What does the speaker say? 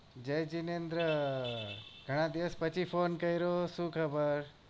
જય જીનેન્દ્ર ગણા દિવસ પછી phone કર્યો શું ખબર